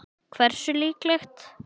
Hversu líklegt?